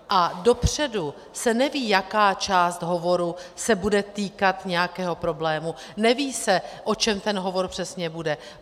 A dopředu se neví, jaká část hovoru se bude týkat nějakého problému, neví se, o čem ten hovor přesně bude.